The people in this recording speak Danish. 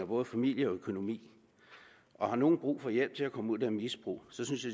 både familie og økonomi og har nogen brug for hjælp til at komme ud af det misbrug synes